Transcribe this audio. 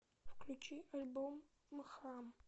включи альбом мхам